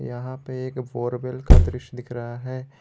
यहां पे एक बोरवेल का दृश्य दिख रहा है।